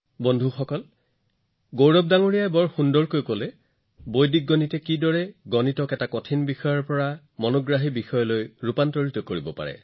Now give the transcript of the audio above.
বন্ধুসকল গৌৰৱজীয়ে খুব ভালদৰে বৰ্ণনা কৰিলে যে বৈদিক গণিতে কেনেদৰে গণিতক আমোদজনক কৰি তুলিব পাৰে